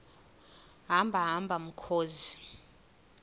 hamba hamba mkhozi